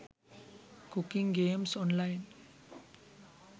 cooking games online